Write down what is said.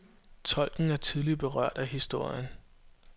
Tolken er tydeligt berørt af historien.